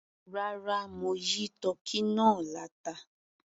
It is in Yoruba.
Rárá, mo yí tọ́kì náà láta.